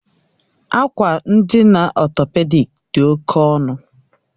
Akwa ndina ọtọpedik dị oke ọnụ